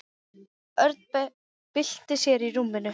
Örn bylti sér í rúminu.